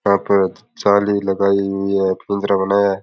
यहां पर जाली लगाई हुई है पिंजरा बनाया है।